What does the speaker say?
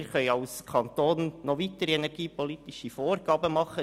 Als Kanton können wir noch weitere energiepolitische Vorgaben machen.